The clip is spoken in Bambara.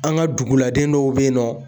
An ŋa duguladen dɔw be yen nɔ